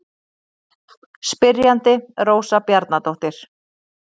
Spyrjandi Rósa Bjarnadóttir.